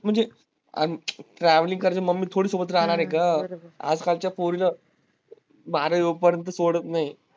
म्हणजे travelling करत mummy सोबत राहनार आहे ग आज कालच्या पोरीला बारावी होई पर्यंत सोडत नाही.